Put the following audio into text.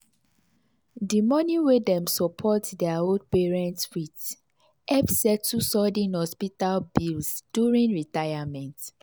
the money wey dem support their old parents with help settle sudden hospital bills during retirement.